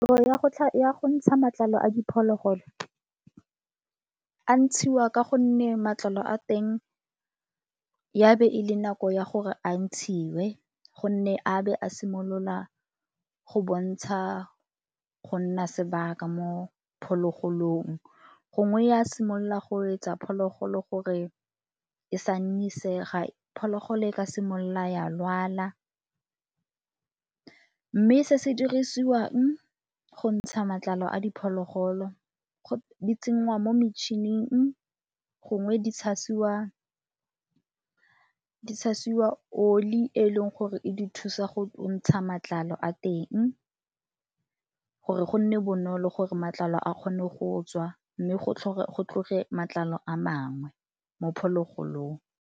ya go ntsha matlalo a diphologolo, a ntshiwa ka gonne matlalo a teng ya be e le nako ya gore a ntshiwe gonne a be a simolola go bontsha go nna sebaka mo phologolong, gongwe ya simolola go etsa phologolo gore e sa nnisega, phologolo e ka simolola ya lwala. Mme se se dirisiwang go ntsha matlalo a diphologolo di tsenngwa mo metšhining gongwe di tshasiwa oli e e leng gore e di thusa go ntsha matlalo a teng gore go nne bonolo gore matlalo a kgone go tswa mme go tlhoge matlalo a mangwe mo phologolong.